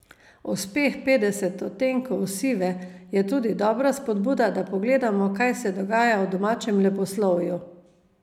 Uspeh Petdeset odtenkov sive je tudi dobra spodbuda, da pogledamo, kaj se dogaja v domačem leposlovju.